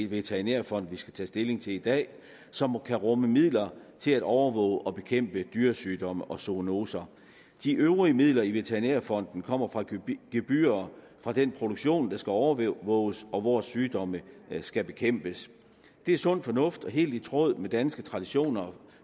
veterinærfond vi skal tage stilling til i dag som kan rumme midler til at overvåge og bekæmpe dyresygdomme og zoonoser de øvrige midler i veterinærfonden kommer fra gebyrer gebyrer fra den produktion der skal overvåges og hvor sygdomme skal bekæmpes det er sund fornuft og helt i tråd med danske traditioner